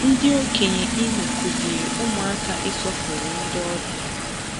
Ndị okenye Imo kuziri ụmụaka ịsọpụrụ ndị ọbịa.